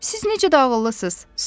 Siz necə də ağıllısınız?